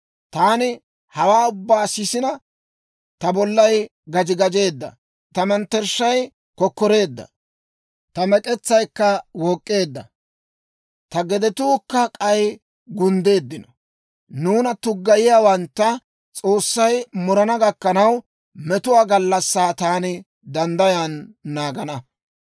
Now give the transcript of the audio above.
Taani hawaa ubbaa sisina, ta bollay gaji gajeedda; ta mettershshay kokkoreedda; ta mek'etsaykka wook'k'eedda; ta gedetuukka k'ay gunddeeddino. Nuuna tuggayiyaawantta S'oossay murana gakkanaw, metuwaa gallassaa taani danddayan naagana.